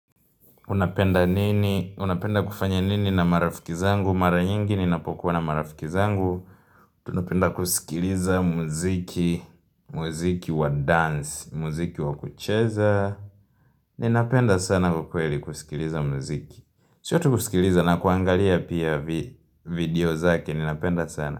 Unapenda nini? Unapenda kufanya nini na marafiki zangu? Mara nyingi ninapokuwa na marafiki zangu. Tunapenda kusikiliza muziki, muziki wa dance, muziki wa kucheza. Ninapenda sana ukweli kusikiliza muziki. Sio tu kusikiliza na kuangalia pia vi video zake. Ninapenda sana.